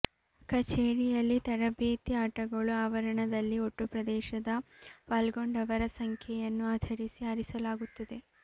ಕಚೇರಿಯಲ್ಲಿ ತರಬೇತಿ ಆಟಗಳು ಆವರಣದಲ್ಲಿ ಒಟ್ಟು ಪ್ರದೇಶದ ಪಾಲ್ಗೊಂಡವರ ಸಂಖ್ಯೆಯನ್ನು ಆಧರಿಸಿ ಆರಿಸಲಾಗುತ್ತದೆ